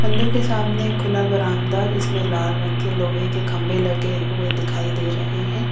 मंदिर के सामने एक खुला बरांडा है जिसमें लाल रंग के लोहे के खंभे लगे हुए दिखाई दे रहे हैं।